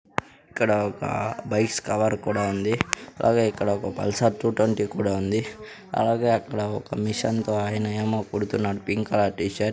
ఇక్కడ ఒక బైస్ కవర్ కూడా ఉంది అలాగే ఇక్కడ ఒక పల్సర్ టు ట్వంటీ కూడా ఉంది అలాగే అక్కడ ఒక మిషన్ తో ఆయన ఏమో కుడుతున్నాడు పింక్ కలర్ టీ-షర్ట్ .